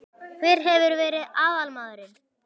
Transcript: Hver hefur verið aðalmaðurinn?